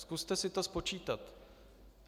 Zkuste si to spočítat.